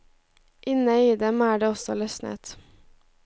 Inne i dem er det også løsnet.